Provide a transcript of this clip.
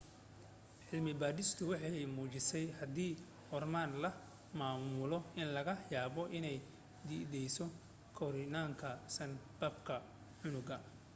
cilmi baadhistiisu waxay muujisay haddii hormoon la maamulo in laga yaabo inuu dedejiyo korniinka sanbabka cunuga